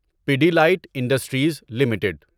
Pidilite industries limited